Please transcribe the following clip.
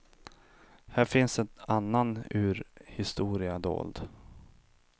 Här finns en annan urhistoria dold.